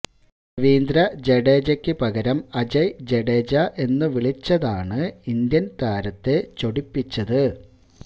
രവീന്ദ്ര ജഡേജയ്ക്ക് പകരം അജയ് ജഡേജ എന്നു വിളിച്ചതാണ് ഇന്ത്യന് താരത്തെ ചൊടിപ്പിച്ചത്